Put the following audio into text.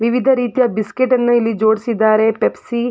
ವಿವಿಧ ರೀತಿಯ ಬಿಸ್ಕೆಟ್ ಅನ್ನು ಇಲ್ಲಿ ಜೋಡಿಸಿದ್ದಾರೆ. ಪೆಪ್ಸಿ --